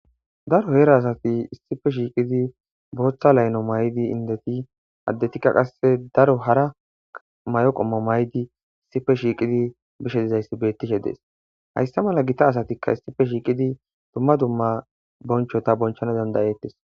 Daro heera asati issife shiiqidi booththa layno maydi indeti addetikka qasse daro hara may7o qommo maydi issife shiiqidi bishe dizayssi bettishe dees haysta mala gita asatikka issife shiiqidi dumma dumma bonchota bonchana dandayeettes.